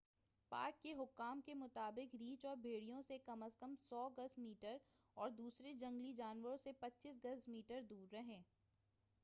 Park حکام کے مطابق، ریچھ اور بھیڑیوں سے کم از کم 100 گز/میٹر اور دوسرے جنگلی جانوروں سے 25 گز/میٹر دور رہیں!